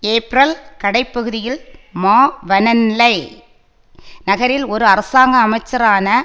ஏப்பிரல் கடை பகுதியில் மாவனெல்லை நகரில் ஒரு அரசாங்க அமைச்சரான